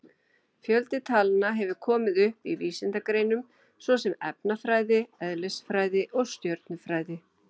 Fjöldi talna hefur komið upp í vísindagreinum svo sem efnafræði, eðlisfræði og stjörnufræði.